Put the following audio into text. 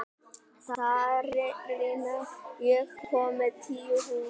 Sarína, ég kom með tíu húfur!